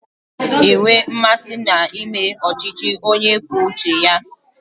Ị ga-enwe mmasị na ịme ọchịchị onye kwuo uche ya?